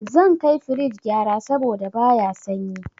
Zan kai firij gyara saboda baya sanyi.